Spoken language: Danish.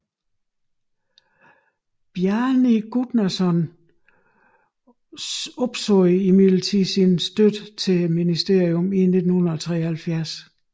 Bjarni Guðnason opsagde imidlertid sin støtte til ministeriet i 1973